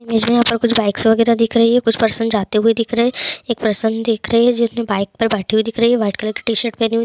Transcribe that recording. मुझे यहाँ कुछ बाइकस वगैरा दिख रही है कुछ पर्सन जाते हुए दिख रहे है एक पर्सन दिख रही है जिसने बाइक पर बैठे हुए दिख रहे है व्हाइट कलर की शर्ट पहने हुए--